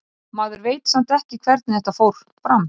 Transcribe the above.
Maður veit samt ekki hvernig þetta fór fram.